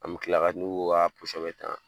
An bɛ kila ka n'o ko b'a bɛɛ ta